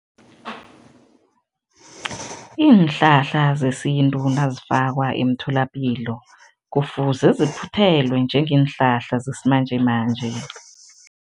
Iinhlahla zesintu nazifakwa emtholapilo, kufuze ziphuthelwe njengeenhlahla zesimanjemanje.